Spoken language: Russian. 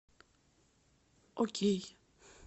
окей